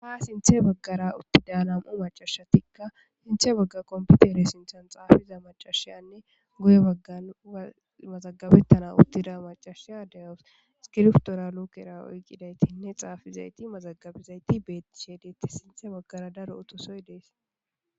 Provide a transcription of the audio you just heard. Ha sinthe baggara uttida nam'u maccashatika sinthe bagga kompitere sinthan xaafiza maccashiyanne guye baggan mazagabetana uttida maccashiyakka de'awus iskriptora luukera oyqidaytinne xaafizaytti mazagabizayti beetishe detes sinthe baggara daro utossoy de'es.